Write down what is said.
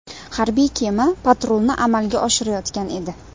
Harbiy kema patrulni amalga oshirayotgan edi.